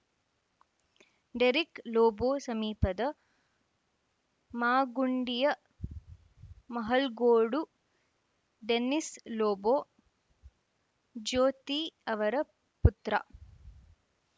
Derek Lobo ಸಮೀಪದ ಮಾಗುಂಡಿಯ Mahalgodu Dennis Lobo Jyothi ಅವರ ಪುತ್ರ